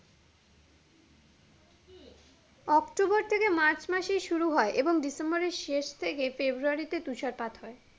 October থেকে March মাসে শুরু হয় এবং ডিসেম্বরের শেষ থেকে ফেব্রুয়ারি তে তুষারপাত হয়